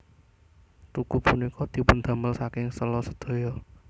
Tugu punika dipundamel saking sèla sedaya